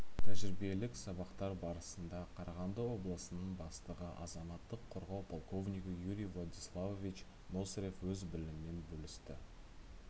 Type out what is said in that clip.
тәжірибелік сабақтар барысында қарағанды облысының бастығы азаматтық қорғау полковнигі юрий владиславович носырев өз білімімен бөлісті